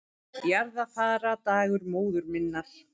Jarðarfarardagur móður minnar